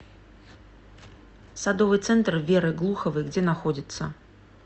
садовый центр веры глуховой где находится